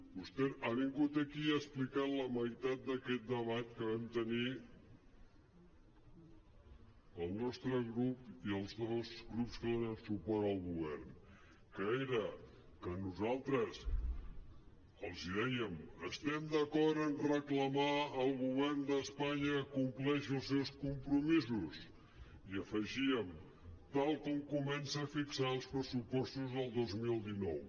vostè ha vingut aquí i ha explicat la meitat d’aquest debat que vam tenir el nostre grup i els dos grups que donen suport al go·vern que era que nosaltres els dèiem estem d’acord en reclamar al govern d’espa·nya que compleixi els seus compromisos i hi afegíem tal com comença a fixar els pressupostos del dos mil dinou